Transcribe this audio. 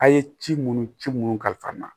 A' ye ci minnu ci minnu kalifa n na